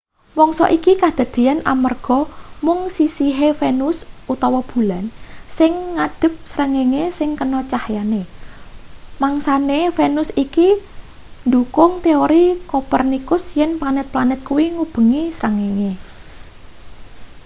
mangsa iki kadadeyan amanarga mung sisihe venus utawa bulan sing ngadhep srengenge sing kena cahyane. mangsane venus iki ndhukung teori kopernikus yen planet-planet kuwi ngubengi srengenge